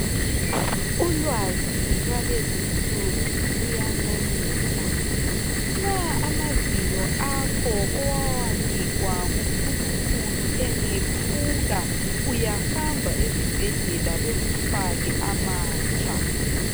Ulwazi lwalezi nsuku luyancomeka. Nxa amazinyo akho owawanikwa nguNkulunkulu engephuka ,uyahamba esibhedlela bekufake amatsha.